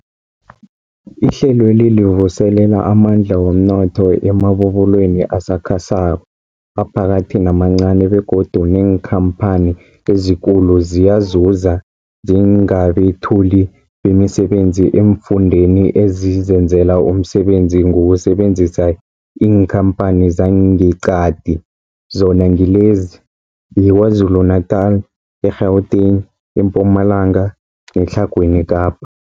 Ihlelweli livuselela amandla womnotho emabubulweni asakhasako, aphakathi namancani begodu neenkhamphani ezikulu ziyazuza njengabethuli bemisebenzi eemfundeni ezizenzela umsebenzi ngokusebenzisa iinkhamphani zangeqadi, zona ngilezi, yiKwaZulu-Natala, i-Gauteng, iMpumalanga neTlhagwini Kapa.